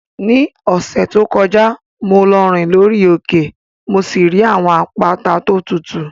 Ní ọ̀sẹ̀ tó kọjá, mo lọ rìn lórí òkè mo sì rí àwọn àpáta tó tutù.